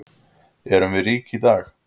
Erum við rík í dag?